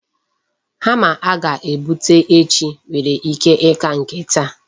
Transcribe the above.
Hama a ga-ebute echi nwere ike ịka nke taa.